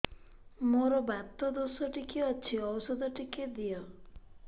ମୋର୍ ବାତ ଦୋଷ ଟିକେ ଅଛି ଔଷଧ ଟିକେ ଦିଅ